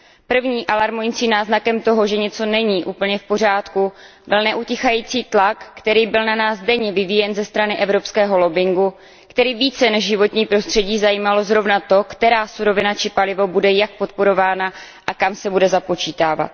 Prvním alarmujícím náznakem toho, že něco není úplně v pořádku, byl neutichající tlak, který byl na nás denně vyvíjen ze strany evropského lobbingu, který více než životní prostředí zajímalo zrovna to, která surovina či palivo bude jak podporována a kam se bude započítávat.